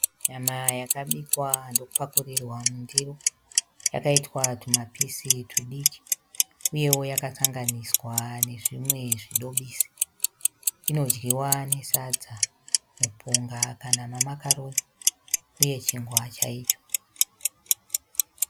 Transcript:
Nyama yakabikwa ndokupakurirwa mundiro. Yakaitwa tumapisi twudiki uyewo yakasanganiswa nezvimwe zvidobisi. Inodyiwa nesadza, mupunga kana mamakaroni uye chingwa chaicho.